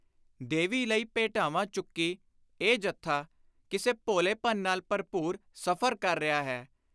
ਦੇਵੀ ਲਈ ਭੇਟਾਵਾਂ ਚੁੱਕੀ ਇਹ ਜਥਾ ਕਿਸੇ ਭੋਲੇਪਨ ਨਾਲ ਭਰਪੁਰ ਸਫ਼ਰ ਕਰ ਰਿਹਾ ਹੈ।